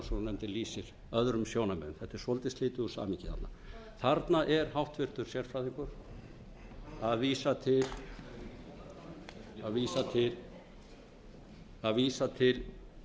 rannsóknarnefndin lýsir öðrum sjónarmiðum þetta er svolítið slitið úr samhengi þarna þarna er háttvirtur sérfræðingur að vísa til hættubrota